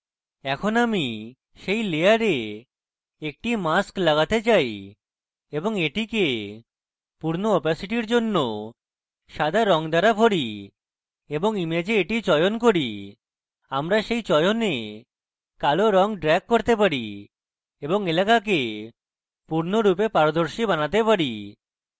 এখন আমি সেই layer একটি মাক্স লাগাতে যাচ্ছি এবং এটিকে পূর্ণ opacity জন্য সাদা রঙ দ্বারা ভরি এবং image একটি চয়ন করি আমরা সেই চয়নে কালো রং drag করতে পারি এবং এলাকাকে পূর্ণরূপে পারদর্শী বানাতে পারি